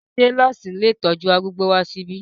Ṣé nọ́ọ̀sì ilé ìtọ́jú arúgbó wá síbí?